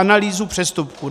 Analýzu přestupků.